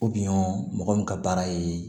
mɔgɔ min ka baara ye